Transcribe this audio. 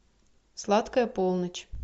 сладкая полночь